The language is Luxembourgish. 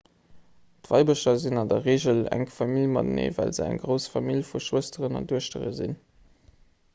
d'weibercher sinn an der reegel enk famill mateneen well se eng grouss famill vu schwësteren an duechtere sinn